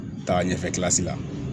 Taaga ɲɛfɛ la